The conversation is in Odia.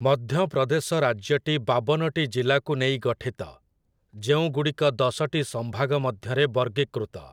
ମଧ୍ୟପ୍ରଦେଶ ରାଜ୍ୟଟି ବାବନଟି ଜିଲ୍ଲାକୁ ନେଇ ଗଠିତ, ଯେଉଁଗୁଡ଼ିକ ଦଶଟି ସଂଭାଗ ମଧ୍ୟରେ ବର୍ଗୀକୃତ ।